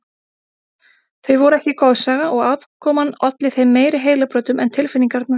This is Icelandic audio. Þau voru ekki goðsaga og afkoman olli þeim meiri heilabrotum en tilfinningarnar.